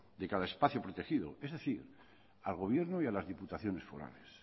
de cada espacio protegido es decir al gobierno y a las diputaciones forales